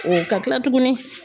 O ka tila tugunni